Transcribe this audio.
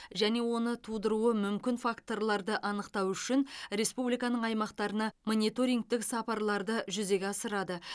және оны тудыруы мүмкін факторларды анықтау үшін республиканың аймақтарына мониторингтік сапарларды жүзеге асырады